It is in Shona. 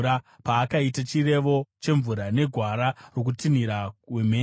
paakaita chirevo chemvura negwara rokutinhira wemheni,